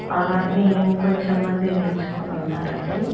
అలాగే ఇంకొంచెం మంది నిల్చుకొని ఉన్నారండి.